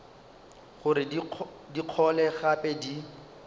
gore di gole gape di